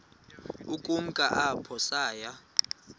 ukumka apho saya